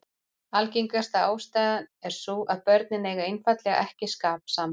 Algengasta ástæðan er sú að börnin eigi einfaldlega ekki skap saman.